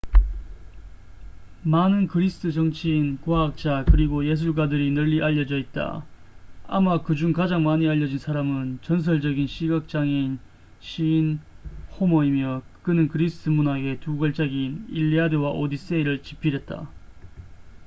많은 그리스 정치인 과학자 그리고 예술가들이 널리 알려져 있다 아마 그중 가장 많이 알려진 사람은 전설적인 시각장애인 시인 호머이며 그는 그리스 문학의 두 걸작인 일리아드와 오디세이를 집필했다